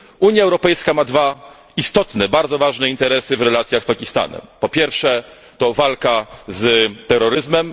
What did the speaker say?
Unia Europejska ma dwa istotne, bardzo ważne interesy w relacjach z Pakistanem po pierwsze, walka z terroryzmem